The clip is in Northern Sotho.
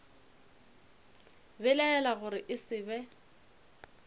belaela gore e se be